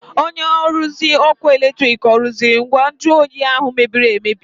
Onye nruzi ọkụ eletrik ọ rụziri ngwa nju oyi ahụ mebiri emebi?